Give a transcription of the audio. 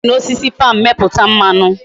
E si na osisi palm meputa mmanu